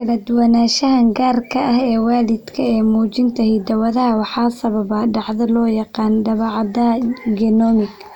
Kala duwanaanshahan gaarka ah ee waalidka ee muujinta hidda-wadaha waxaa sababa dhacdo loo yaqaan daabacaadda genomic.